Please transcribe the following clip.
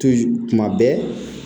tuma bɛɛ